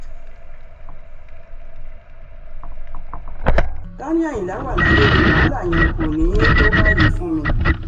ká ní àyìnlá wa láyé ni wàhálà yẹn kò ní í tó báyìí fún mi